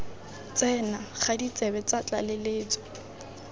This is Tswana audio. tsena ga ditsebe tsa tlaleletso